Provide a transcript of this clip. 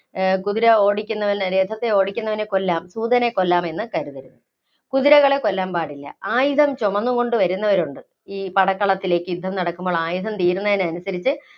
കുതിര ഓടിക്കുന്നവനെ, ആ രഥത്തില്‍ ഓടിക്കുന്നവനെ കൊല്ലാം, സൂതനെ കൊല്ലാം എന്ന് കരുതരുത്. കുതിരകളെ കൊല്ലാന്‍ പാടില്ല. ആയുധം ചുമന്നുകൊണ്ടു വരുന്നവരുണ്ട്, ഈ പടകളത്തിലേക്ക് യുദ്ധം നടക്കുമ്പോള്‍ ആയുധം തീരുന്നതനുസരിച്ച്